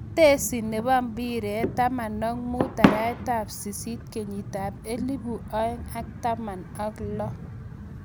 Tetesi nebo impiret 15:08:2016.